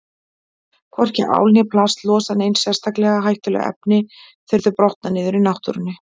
Hvorki ál né plast losa nein sérstaklega hættuleg efni þegar þau brotna niður í náttúrunni.